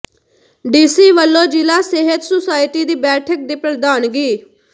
DC ਵੱਲੋਂ ਜ਼ਿਲ੍ਹਾ ਸਿਹਤ ਸੁਸਾਇਟੀ ਦੀ ਬੈਠਕ ਦੀ ਪ੍ਰਧਾਨਗੀ